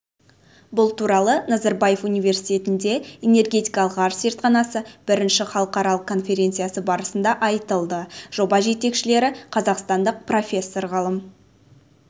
бұл туралы назарбаев университетінде энергетикалық ғарыш зертханасы бірінші халықаралық конференциясы барысында айтылды жоба жетекшілері қазақстандық профессор-ғалым